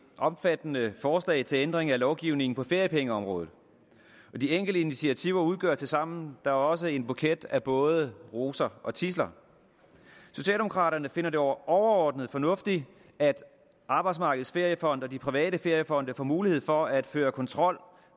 omfattende forslag til ændring af lovgivningen på feriepengeområdet og de enkelte initiativer udgør tilsammen da også en buket af både roser og tidsler socialdemokraterne finder det overordnet fornuftigt at arbejdsmarkedets feriefond og de private feriefonde får mulighed for at føre kontrol